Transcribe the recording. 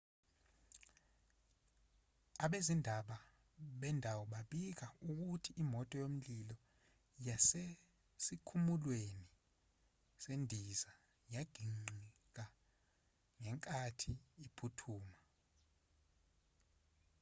abezindaba bendawo babika ukuthi imoto yomlilo yasesikhumulweni sezindiza yaginqikangenkathi iphuthuma